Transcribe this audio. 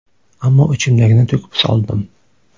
Ammo ichimdagini to‘kib soldim.